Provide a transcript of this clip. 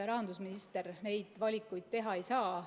Rahandusminister neid valikuid teha ei saa.